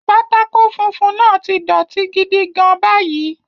Pátákó funfun náà ti dọ̀tí gidi gan-an báyìí.